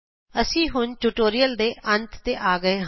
ਇਹ ਸਾਨੂੰ ਇਸ ਟਿਯੂਟੋਰਿਅਲ ਦੇ ਅੰਤ ਤੇ ਲੈ ਆਇਆ ਹੈ